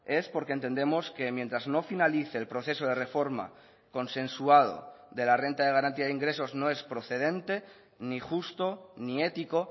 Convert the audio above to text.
es porque entendemos que mientras no finalice el proceso de reforma consensuado de la renta de garantía de ingresos no es procedente ni justo ni ético